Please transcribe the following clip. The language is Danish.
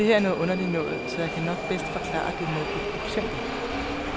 Det her er noget underligt noget, så jeg kan nok bedst forklare det med et eksempel.